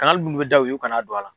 Kangari ninnu bɛ da u ye u kana don a la.